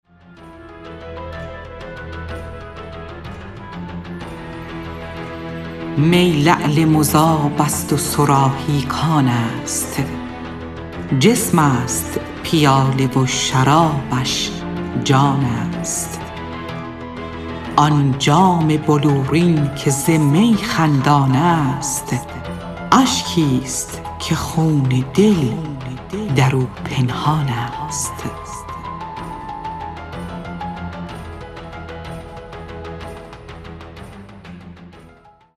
می لعل مذاب است و صراحی کان است جسم است پیاله و شرابش جان است آن جام بلورین که ز می خندان است اشکی است که خون دل در او پنهان است